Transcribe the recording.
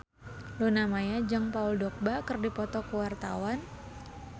Luna Maya jeung Paul Dogba keur dipoto ku wartawan